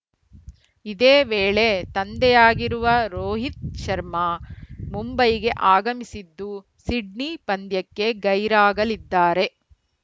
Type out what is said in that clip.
ಇದೇ ವೇಳೆ ತಂದೆಯಾಗಿರುವ ರೋಹಿತ್‌ ಶರ್ಮಾ ಮುಂಬೈಗೆ ಆಗಮಿಸಿದ್ದು ಸಿಡ್ನಿ ಪಂದ್ಯಕ್ಕೆ ಗೈರಾಗಲಿದ್ದಾರೆ